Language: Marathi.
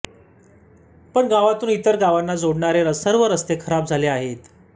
पण गावातून इतर गावांना जोडणारे सर्व रस्ते खराब झाले आहेत